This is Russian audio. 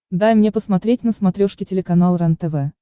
дай мне посмотреть на смотрешке телеканал рентв